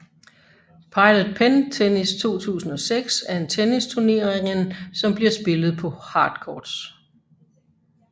Pilot Pen Tennis 2006 er en tennisturneringen som bliver spillet på hard courts